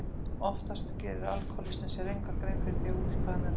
Oftast gerir alkohólistinn sér enga grein fyrir því út í hvað hann er að fara.